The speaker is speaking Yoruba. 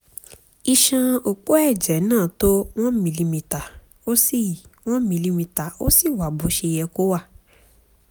iṣan òpó ẹ̀jẹ̀ náà tó one milimetre ó sì one milimetre ó sì wà bó ṣe yẹ kó wà